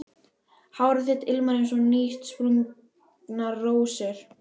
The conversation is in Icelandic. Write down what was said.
Hár þitt ilmar eins og nýútsprungnar rósir.